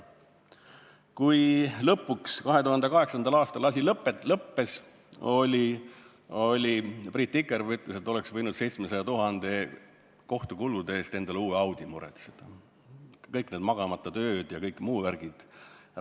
Kui lõpuks 2008. aastal asi lõppes, siis Priit Tikerpe ütles, et ta oleks võinud kohtukulude eest, 700 000 eest endale uue Audi muretseda, rääkimata kõikidest magamata öödest ja muust värgist.